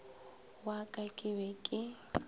wa ka ke be ke